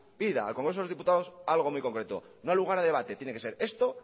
pida al congreso de los diputados algo muy concreto no da lugar a debate tiene que ser esto